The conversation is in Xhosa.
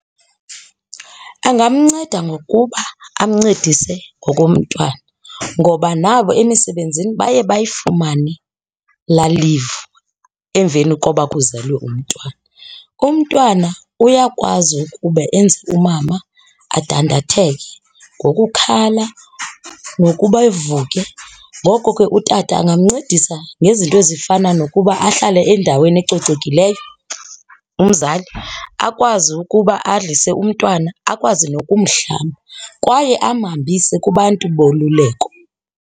Angamnceda ngokuba amncedise ngokomntwana ngoba nabo emisebenzini baye bayifumane laa leave emveni koba kuzelwe umntwana. Umntwana uyakwazi ukuba enze umama adandatheke ngokukhala nokuba evuke. Ngoko ke utata angamncedisa ngezinto ezifana nokuba ahlale endaweni ecocekileyo umzali akwazi ukuba adlise umntwana akwazi nokumhlaba kwaye amhambise kubantu boluleko.